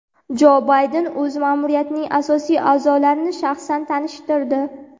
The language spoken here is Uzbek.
Jo Bayden o‘z ma’muriyatining asosiy a’zolarini shaxsan tanishtirdi.